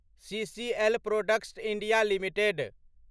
CCL products India limited